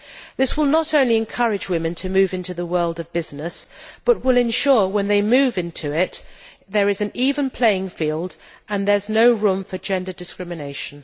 This will not only encourage women to move into the world of business, but will ensure when they move into it there is an even playing field and there is no room for gender discrimination.